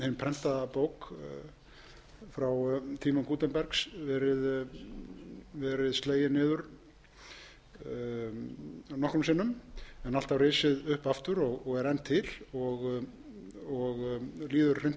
hin prentaða bók frá tíma gutenbergs verið slegin niður nokkrum sinnum en alltaf risið upp aftur og er enn til og líður hreint